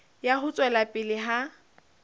ya ho tswela pele ha